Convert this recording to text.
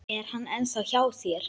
Er hann ennþá hjá þér?